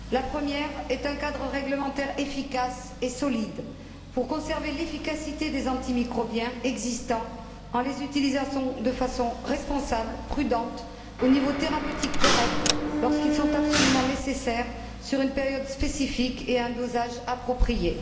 La première est un cadre réglementaire efficace et solide pour préserver l'efficacité des antimicrobiens existants, en les utilisant de façon responsable, prudente, à un niveau thérapeutique correct, lorsqu'ils sont absolument nécessaires, sur une période spécifique et à un dosage approprié.